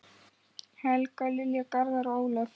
Helga, Lilja, Garðar og Ólöf.